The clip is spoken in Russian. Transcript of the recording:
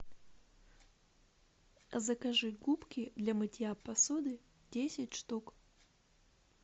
закажи губки для мытья посуды десять штук